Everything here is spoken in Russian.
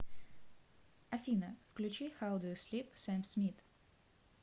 афина включи хау ду ю слип сэм смит